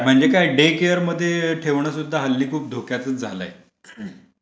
म्हणजे काय डे केअरमध्ये ठेवणं सुद्धा हल्ली खूप धोक्याचच झालंय.